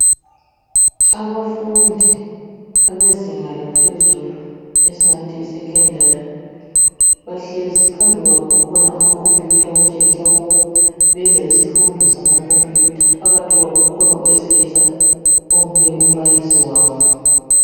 Abafundi abezinga laphezulu esingathi yisekhondari bahlezi. Phambili kwabo kukhona amakhompiyutha okutshengisa ukuba benza isifundo samakhompiyutha. Phakathi kwabo kukhona owesilisa onguye umbalisi wabo.